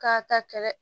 K'a ta kɛlɛ